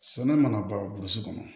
Sɛnɛ mana ban burusi kɔnɔ